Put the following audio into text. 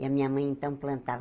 E a minha mãe, então, plantava.